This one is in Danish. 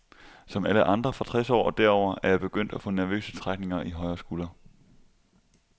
Som alle andre fra tres år og derover er jeg begyndt at få nervøse trækninger i højre skulder.